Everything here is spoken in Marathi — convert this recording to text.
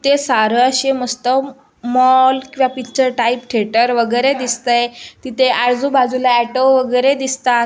ते सारं असे मस्त मॉल किंवा पिच्चर टाइप थेटर वगैरे दिसतय तिथे आजूबाजूला ऑटो वगैरे दिसतात.